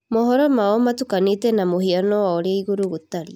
Mohoro mao matukanĩte na mũhiano ya ũrĩa igũrũ gũtariĩ.